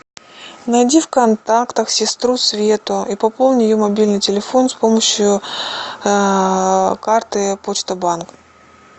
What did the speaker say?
найди в контактах сестру свету и пополни ее мобильный телефон с помощью карты почта банк